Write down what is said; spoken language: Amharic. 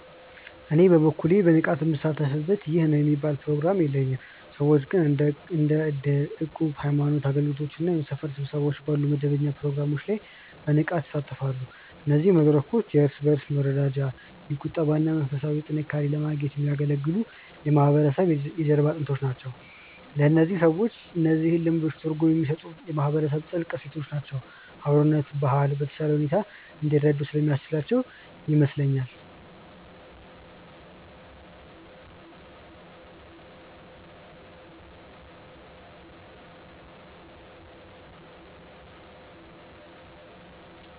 እኔ በበኩሌ በንቃት ምሳተፍበት ይህ ነው የሚባል ፕሮግራም የለኝም። ሰዎች ግን እንደ እድር፣ እቁብ፣ የሃይማኖት አገልግሎቶች እና የሰፈር ስብሰባዎች ባሉ መደበኛ ፕሮግራሞች ላይ በንቃት ይሳተፋሉ። እነዚህ መድረኮች የእርስ በእርስ መረዳጃ፣ የቁጠባ እና መንፈሳዊ ጥንካሬን ለማግኘት የሚያገለግሉ የማህበረሰቡ የጀርባ አጥንቶች ናቸው። ለእነዚህ ሰዎች እነዚህ ልምዶች ትርጉም የሚሰጡት የማህበረሰቡን ጥልቅ እሴቶች እና የአብሮነት ባህል በተሻለ ሁኔታ እንዲረዱ ስለሚያስችላቸው ይመስለኛል።